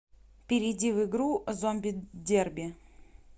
перейди в игру зомби дерби